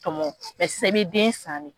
Tɔmɔn sisan i bɛ den san ne.